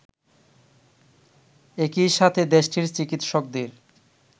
একই সাথে দেশটির চিকিৎসকদের